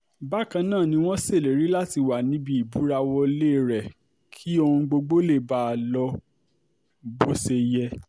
bákan náà ni wọ́n ṣèlérí láti wà níbi ìbúrawọ́lẹ̀ rẹ̀ kí ohun gbogbo lè báa lọ bó ṣe yẹ